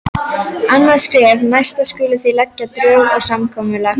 Annað skref: Næst skulið þið leggja drög að samkomulagi.